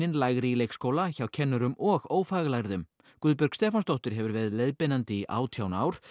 lægri í leikskóla hjá kennurum og ófaglærðum Guðbjörg Stefánsdóttir hefur verið leiðbeinandi í átján ár